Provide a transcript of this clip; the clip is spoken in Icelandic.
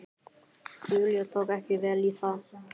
Júlía tók ekki vel í það.